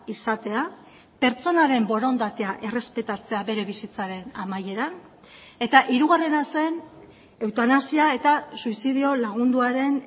izatea pertsonaren borondatea errespetatzea bere bizitzaren amaieran eta hirugarrena zen eutanasia eta suizidio lagunduaren